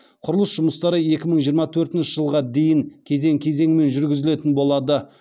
құрылыс жұмыстары екі мың жиырма төртінші жылға дейін кезең кезеңімен жүргізілетін болады